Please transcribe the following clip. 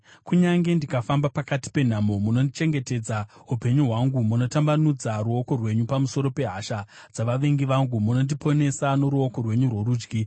Kunyange ndikafamba pakati penhamo, munochengetedza upenyu hwangu; munotambanudza ruoko rwenyu pamusoro pehasha dzavavengi vangu, munondiponesa noruoko rwenyu rworudyi.